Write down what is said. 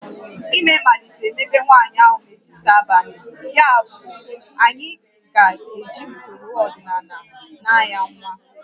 Ime malitere mebe nwaanyị ahụ n'etiti abalị, yabụ anyị ga-eji usoro ọdịnala naa ya nwa